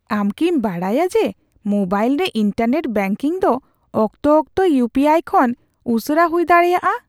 ᱟᱢ ᱠᱤᱢ ᱵᱟᱰᱟᱭᱟ ᱡᱮ ᱢᱳᱵᱟᱭᱤᱞ ᱨᱮ ᱤᱱᱴᱟᱨᱱᱮᱴ ᱵᱮᱝᱠᱤᱝ ᱫᱚ ᱚᱠᱛᱚ ᱚᱠᱛᱚ ᱤᱭᱩ ᱯᱤ ᱟᱭ ᱠᱷᱚᱱ ᱩᱥᱟᱹᱨᱟ ᱦᱩᱭ ᱫᱟᱲᱮᱭᱟᱜᱼᱟ ᱾